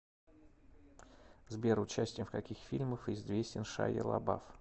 сбер участием в каких фильмах известен шайя лабаф